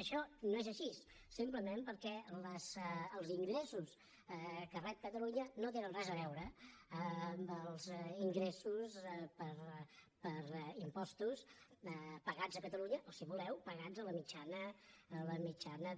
això no és així simplement perquè els ingressos que rep catalunya no tenen res a veure amb els ingressos per impostos pagats a catalunya o si voleu pagats a la mitjana